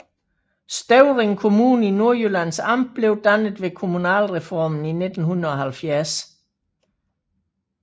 Støvring Kommune i Nordjyllands Amt blev dannet ved kommunalreformen i 1970